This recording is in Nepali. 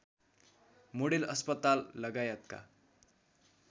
मोडेल अस्पताल लगायतका